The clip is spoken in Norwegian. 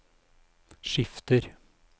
skifter